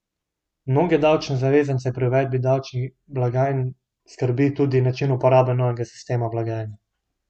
Mnoge davčne zavezance pri uvedbi davčnih blagajn skrbi tudi način uporabe novega sistema blagajne.